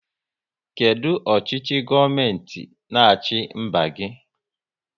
Kedụ ọchịchị gọọmenti n'achi mba gị?